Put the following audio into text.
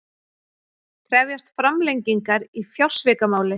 Krefjast framlengingar í fjársvikamáli